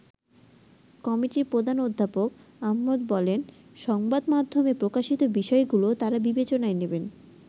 কমিটির প্রধান অধ্যাপক আহমেদ বলেন সংবাদ মাধ্যমে প্রকাশিত বিষয়গুলো তারা বিবেচনায় নেবেন।